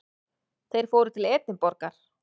Þeir fóru til Edinborgar.